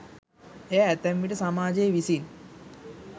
එය ඇතැම් විට සමාජය විසින්